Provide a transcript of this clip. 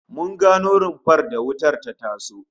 Mun gano rumfar da wutar ta taso